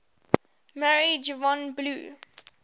married yvonne blue